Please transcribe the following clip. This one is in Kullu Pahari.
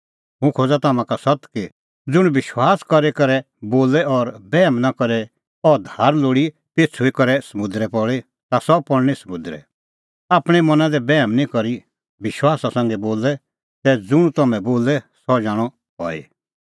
हुंह खोज़ा तम्हां का सत्त कि ज़ुंण विश्वास करी करै बोले और बैहम नां करे कि अह धार लोल़ी पेछ़ुई करै समुंदरै पल़ी ता सह पल़णीं समुंदरै आपणैं मना दी बैहम निं करी विश्वासा संघै बोलै तै ज़ुंण तूह बोले सह जाणअ हई